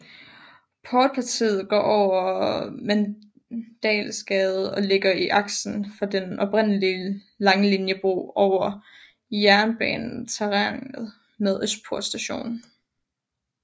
Portpartiet går over Mandalsgade og ligger i aksen for den oprindelige Langelinjebro over jernbaneterrænet ved Østerport Station